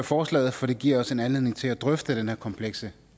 forslaget for det giver os en anledning til at drøfte den her komplekse